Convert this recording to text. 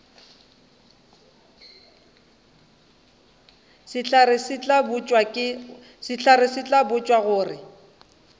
sehlare se tla botšwa gore